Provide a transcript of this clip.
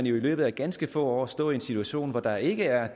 jo i løbet af ganske få år står i en situation hvor der ikke er